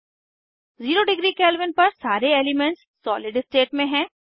ज़ेरो degree kelvin पर सारे elements solid state में हैं